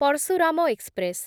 Parashuram express